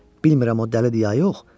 Bilmirəm o dəlidir ya yox.